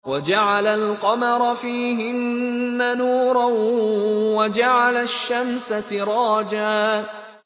وَجَعَلَ الْقَمَرَ فِيهِنَّ نُورًا وَجَعَلَ الشَّمْسَ سِرَاجًا